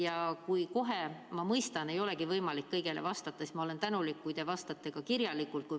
Ja kui kohe, ma mõistan, ei olegi võimalik kõigele vastata, siis ma olen tänulik, kui te vastate kirjalikult.